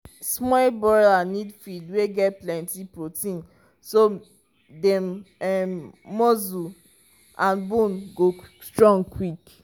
small broiler need feed wey get plenty protein so dem um muscle and bone go strong quick.